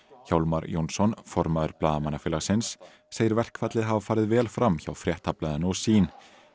Hjálmar Jónsson formaður Blaðamannafélagsins segir verkfallið hafa farið vel fram hjá Fréttablaðinu og sýn